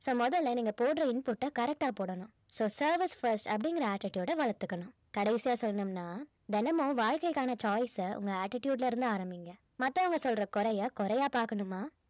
so முதல்ல நீங்க போடுற input அ correct ஆ போடணும் so service first அப்படிங்கிற attitude அ வளர்த்துக்கணும் கடைசியா சொன்னோம்னா தினமும் வாழ்க்கைகான choice அ உங்க attitude ல இருந்து ஆரம்பிங்க மத்தவங்க சொல்ற குறைய குறையா பாக்கணுமா